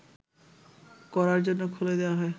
করার জন্য খুলে দেয়া হয়